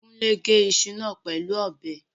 Kúnlé gé iṣu náà pẹ̀lú ọ̀bẹ